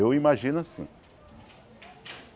Eu imagino assim.